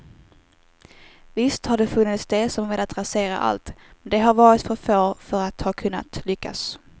Visst har det funnits de som velat rasera allt, men de har varit för få för att ha kunnat lyckas.